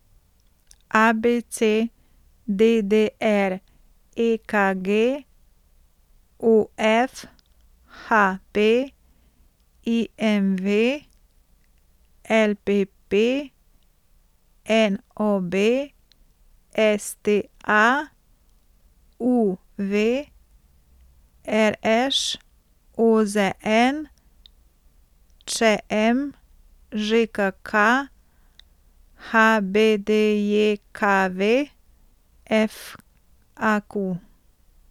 A B C; D D R; E K G; O F; H P; I M V; L P P; N O B; S T A; U V; R Š; O Z N; Č M; Ž K K; H B D J K V; F A Q.